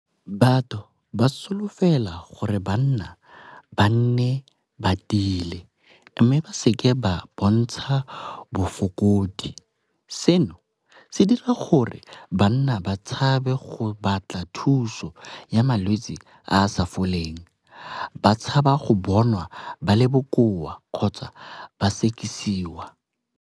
Batho ba solofela gore banna ba nne ba tiile mme ba seke ba bontsha bofokodi. Seno se dira gore banna ba tshabe go batla thuso ya malwetsi a a sa foleng, ba tshaba go bonwa ba le bokoa kgotsa ba sekisiwa.